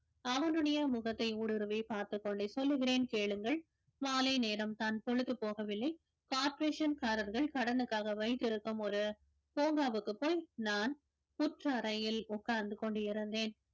அவனுடைய முகத்தை ஊடுருவி பார்த்து கொண்டு சொல்லுகிறேன் கேளுங்கள் மாலை நேரம் தான் பொழுது போகவில்லை corporation காரர்கள் கடனுக்காக வைத்திருக்கும் ஒரு பூங்காவுக்கு போய் நான் புற்றறையில் உட்கார்ந்து கொண்டிருந்தேன்